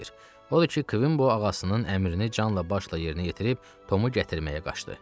Odur ki, Kvimbow ağasının əmrini canla-başla yerinə yetirib Tomu gətirməyə qaçdı.